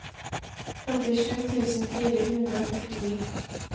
femtisju tusen fire hundre og førtini